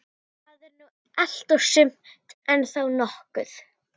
Það er nú allt og sumt, en þó nokkuð.